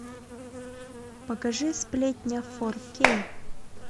покажи сплетня фор кей